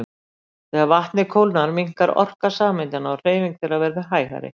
Þegar vatnið kólnar minnkar orka sameindanna og hreyfing þeirra verður hægari.